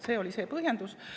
Selline oli põhjendus.